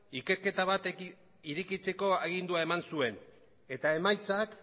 ikerketa bat irekitzeko agindua eman zuen eta emaitzak